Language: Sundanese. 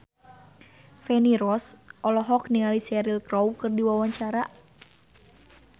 Feni Rose olohok ningali Cheryl Crow keur diwawancara